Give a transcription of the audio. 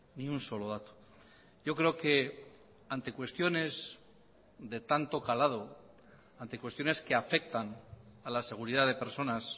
ni un solo dato yo creo que ante cuestiones de tanto calado ante cuestiones que afectan a la seguridad de personas